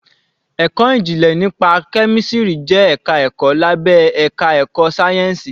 Ẹ̀kọ́ ìjìnlẹ̀ nípa kẹ́mísìrì jẹ́ ẹ̀ka ẹ̀kọ́ lábé àká ẹ̀kọ́ sáyẹ́ǹsìì.